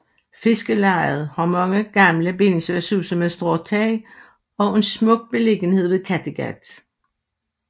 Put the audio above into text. Fiskerlejet har mange gamle bindingsværkshuse med stråtag og en smuk beliggenhed ved Kattegat